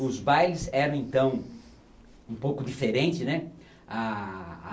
Os bailes eram então um pouco diferente, né? ah